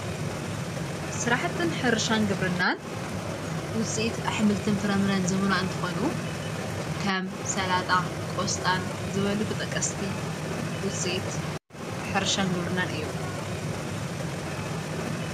ሥራሕትን ሕርሻን ግብርናን ውፂት ኣኅምልትን ፍረምረን ዝምኑ እንተኾኑ ከም ሠላጣ ቆስጣን ዝበሉ ተጠቀስቲ ውፂት ሕርሻን ግብርናን እዮም::